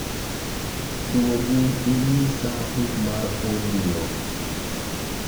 duogi inyisa buk mar audio